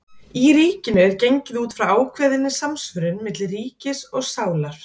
í ríkinu er gengið út frá ákveðinni samsvörun milli ríkis og sálar